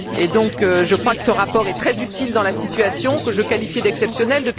Je crois donc que ce rapport est très utile dans la situation que je qualifie d'exceptionnelle.